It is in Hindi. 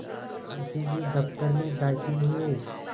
मुंशी जी दफ्तर में दाखिल हुए